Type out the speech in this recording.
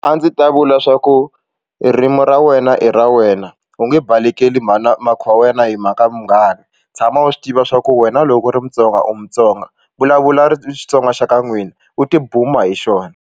A ndzi ta vula swa ku ririmi ra wena i ra wena u nge balekela mhakhi wa wena hi mhaka munghana tshama u swi tiva swa ku wena loko u ri mutsonga u mutsonga vulavula ri Xitsonga xa ka n'wina u tibuma hi xona.